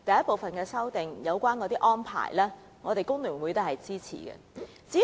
第一組修正案的相關安排，我們工聯會是支持的。